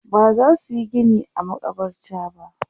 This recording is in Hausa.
bazasu Yi Gini a a makabarta ba